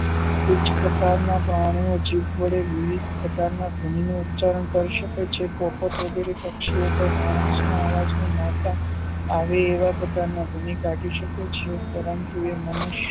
તુચ્છ પ્રકારના પ્રાણીઓ જીભ વડે વિવિધ પ્રકારના ના ધ્વનિનું ઉપચારણ કરી શકે છે તો તે પક્ષી કે માણસો ના અવાજમાં મારતા આવી એવા પ્રકારની ભૂમિકા કાઢી શકે શકે છે પરંતુ એ